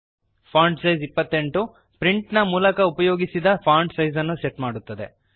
font size 28 ಪ್ರಿಂಟಿನ ಮೂಲಕ ಉಪಯೋಗಿಸಿದ ಫಾಂಟ್ ಸೈಜ್ ಅನ್ನು ಸೆಟ್ ಮಾಡುತ್ತದೆ